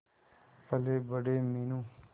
पलेबड़े Meenu